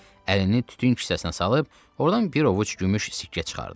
Əlini tütün kisəsinə salıb ordan bir ovuc gümüş sikkə çıxardı.